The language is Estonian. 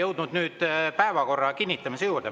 Oleme nüüd jõudnud päevakorra kinnitamise juurde.